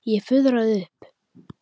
Ég fuðraði upp.